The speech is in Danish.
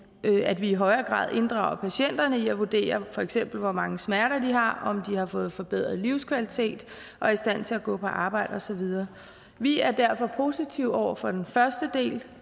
at vi i højere grad inddrager patienterne i at vurdere for eksempel hvor mange smerter de har om de har fået forbedret livskvalitet og er i stand til at gå på arbejde og så videre vi er derfor positive over for den første del